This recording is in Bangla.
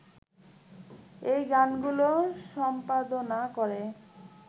এই গানগুলো সম্পাদনা করে